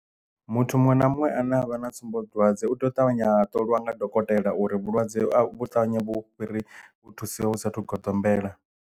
Muthu muṅwe na muṅwe a ne a vha na tsumbodwadze u tea u ṱavhanya a ṱolwa nga dokotela uri vhulwadze vhu ṱavhanya vhufhiri hu thusiwa usathu goḓombela.